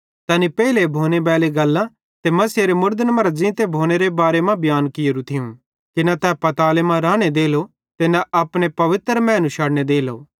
तैनी पेइले भोनेबैली गल्लां ते मसीहेरे मुड़दन मरां ज़ींते भोनेरे बारे मां बियांन कियेरू थियूं कि न तै पाताले मां राने देलो ते न अपने पवित्र मैनू शड़ने देलो